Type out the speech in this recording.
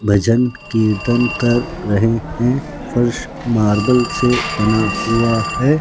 भजन कीर्तन कर रहे हैं फर्श मार्बल से बना हुआ है।